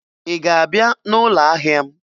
ị ga-abịa n'ụlọ ahịa m?